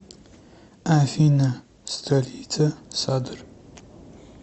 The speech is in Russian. афина столица садр